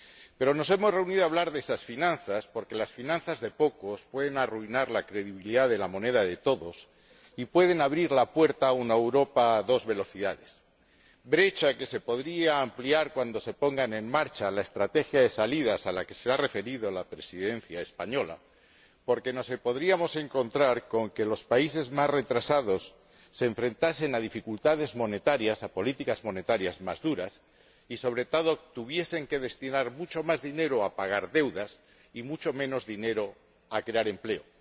Pero nos hemos reunido para hablar de estas finanzas porque las finanzas de pocos pueden arruinar la credibilidad de la moneda de todos y pueden abrir la puerta a una Europa a dos velocidades ─brecha que se podría ampliar cuando se ponga en marcha la estrategia de salidas a la que se ha referido la Presidencia española─, porque nos podríamos encontrar con que los países más retrasados tuviesen que enfrentarse a dificultades monetarias, a políticas monetarias más duras y, sobre todo, tuviesen que destinar mucho más dinero a pagar deudas y mucho menos dinero a crear empleo.